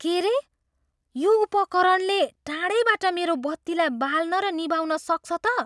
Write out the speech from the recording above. के रे! यो उपकरणले टाढैबाट मेरो बत्तीलाई बाल्न र निभाउन सक्छ त?